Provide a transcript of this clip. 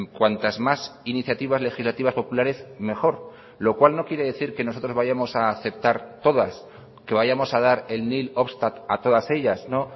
cuantas más iniciativas legislativas populares mejor lo cual no quiere decir que nosotros vayamos a aceptar todas que vayamos a dar el nihil obstat a todas ellas no